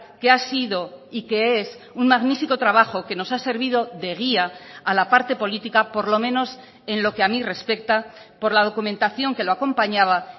que ha sido y que es un magnífico trabajo que nos ha servido de guía a la parte política por lo menos en lo que a mí respecta por la documentación que lo acompañaba